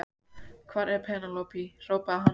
Hvar er Penélope, hrópaði hann á hana.